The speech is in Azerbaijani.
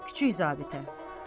Kiçik zabitə.